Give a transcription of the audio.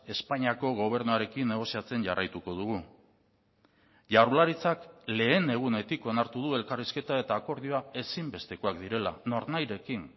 espainiako gobernuarekin negoziatzen jarraituko dugu jaurlaritzak lehen egunetik onartu du elkarrizketa eta akordioa ezinbestekoak direla nornahirekin